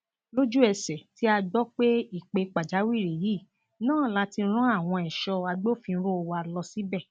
lójúẹsẹ tí a gbọ pé ìpè pàjáwìrì yìí náà láti rán àwọn èso agbófinró wa lọ síbẹ